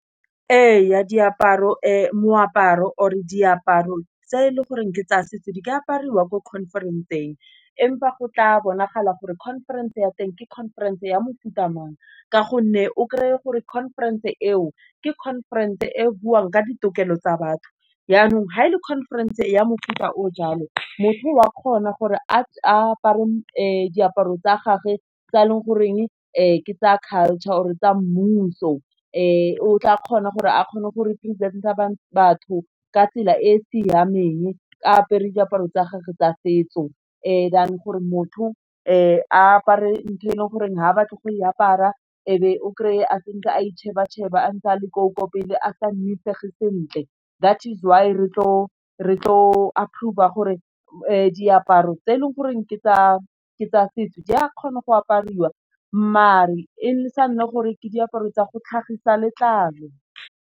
Ee ya, diaparo moaparo or e diaparo tse e leng goreng ke tsa setso di ke apariwa ko conference-ng, empa go tla bonagala gore conference ya teng ke conference ya mofuta mang, ka gonne o krey-e gore conference e o ke conference e buang ka ditokelo tsa batho yanong fa e le conference ya mofuta o jalo, motho o a kgona gore a apare diaparo tsa gagwe tse e leng goreng, ke tsaya culture or tsa mmuso, o tla kgona gore a kgone gore a represent-e batho ka tsela e e siameng. Apere diaparo tsa gagwe tsa setso, than gore motho, apare ntho e leng gore ha batla go e apara, ebe o kry-e senke a icheba cheba a ntse a le ko pele a sa nnisege sentle that is why re tlo approver-a gore diaparo tse e leng gore ke tsa setso di a kgona go apariwa mare e sa nna gore ke diaparo tsa go tlhagisa letlalo.